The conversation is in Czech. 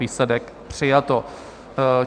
Výsledek: přijato.